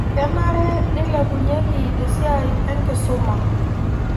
Kenare nilepunyeki esiai enkisuma